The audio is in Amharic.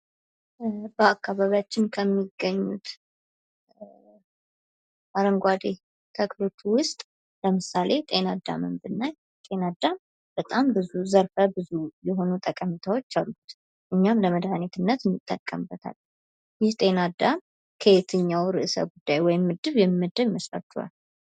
በአካባቢያችን ከሚገኙት አረንጓዴ ተክሎች ውስጥ ለምሳሌ ጤናአዳምን ብናይ ጤናዳም በጣም ብዙ ዘርፈብዙ የሆኑ ጠቀሜታዎች አሉት። እኛም ለመድኃኒትነት እንጠቀምበታለን ይህ ጤናዳም ከየትኛው ርዕሰ ጉዳይ ወይም ምድብ የሚመደብ ይመስላችኋል?